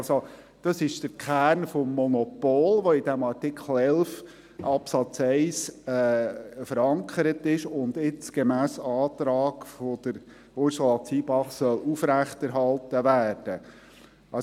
» Dies ist der Kern des Monopols, welcher in Artikel 11 Absatz 1 verankert ist und jetzt gemäss Antrag von Ursula Zybach aufrechterhalten werden soll.